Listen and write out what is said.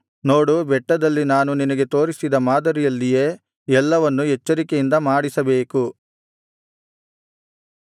ನೋಡು ಬೆಟ್ಟದಲ್ಲಿ ನಾನು ನಿನಗೆ ತೋರಿಸಿದ ಮಾದರಿಯಲ್ಲಿಯೇ ಎಲ್ಲವನ್ನು ಎಚ್ಚರಿಕೆಯಿಂದ ಮಾಡಿಸಬೇಕು